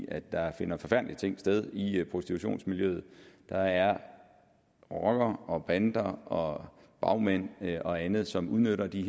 at der finder forfærdelige ting sted i prostitutionsmiljøet der er rockere og bander og bagmænd og andet som udnytter de